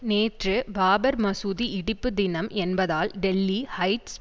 நேற்று பாபர் மசூதி இடிப்பு தினம் என்பதால் டெல்லி ஹைட்ஸ்